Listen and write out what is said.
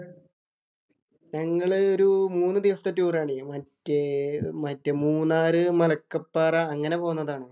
ഞങ്ങള് ഒരു മൂന്നു ദിവസത്തെ ടൂറാണേ. മറ്റേ മറ്റേ മൂന്നാറ്, മലക്കപ്പാറ. അങ്ങനെ പോന്നതാണ്.